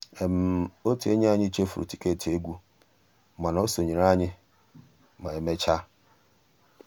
ótú ényí ànyị́ chèfùrú tìkétì égwu mànà ó sonyééré ànyị́ mà emeéchaa